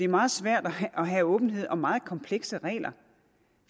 meget svært at have åbenhed om meget komplekse regler